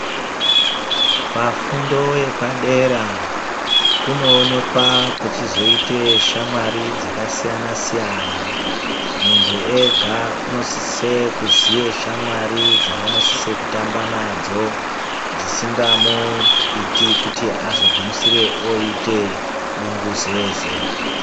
Pafundo yepadera kunooneka kuchizoite shamwari dzakasiyana-siyana. Muntu ega unosise kuziya shamwari dzaanosise kutamba nadzo dzisingamuiti kuti azogumisire oite bunguzeze.